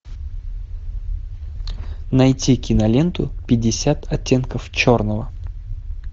найти киноленту пятьдесят оттенков черного